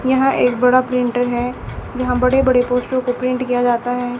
यहां एक बड़ा प्रिंटर है जहां बड़े बड़े पोस्टरो को प्रिंट किया जाता है।